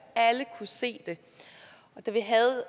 alle kunne se det